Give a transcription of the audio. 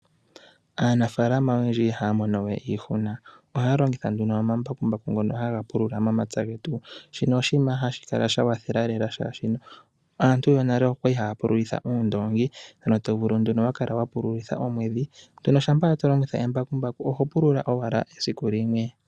Aanamapya oyendji ihaya mono we iihuna, oshoka ohaya longitha omambakumbaku ngoka haya pulula momapya getu. Ohashi kwathele lela, oshoka aantu yonale okwali haya pululitha uundoongi okupula omwiidhi. Ngaashingeyi shampa wa pululitha embakumbaku oho pulula owala esiku limwe.